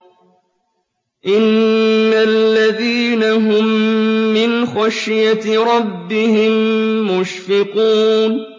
إِنَّ الَّذِينَ هُم مِّنْ خَشْيَةِ رَبِّهِم مُّشْفِقُونَ